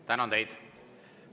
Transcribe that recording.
Tänan teid!